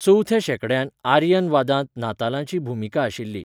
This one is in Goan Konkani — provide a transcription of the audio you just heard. चवथ्या शेंकड्यांत आरियन वादांत नातालांची भुमिका आशिल्ली.